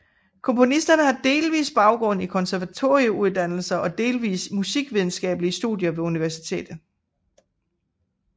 Komponisterne har delvis baggrund i konservatorieuddannelser og delvis i musikvidenskabelige studier ved universitet